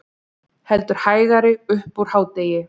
Heldur hægari upp úr hádegi